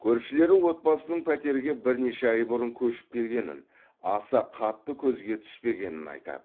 көршілері отбасының пәтерге бірнеше ай бұрын көшіп келгенін аса қатты көзге түспегенін айтады